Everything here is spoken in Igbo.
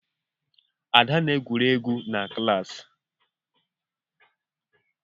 Ada na-egwuri egwu na klaasị.